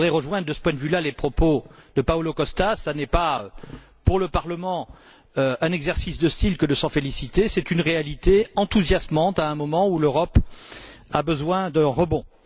Je voudrais rejoindre de ce point de vue là les propos de Paolo Costa ce n'est pas pour le Parlement un exercice de style que de s'en féliciter, c'est une réalité enthousiasmante à un moment où l'Europe a besoin d'un rebond.